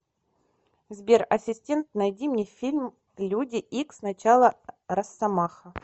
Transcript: сбер асистент найди мне фильм люди икс начало россомаха